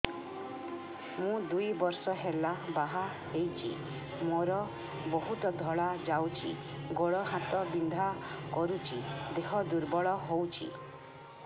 ମୁ ଦୁଇ ବର୍ଷ ହେଲା ବାହା ହେଇଛି ମୋର ବହୁତ ଧଳା ଯାଉଛି ଗୋଡ଼ ହାତ ବିନ୍ଧା କରୁଛି ଦେହ ଦୁର୍ବଳ ହଉଛି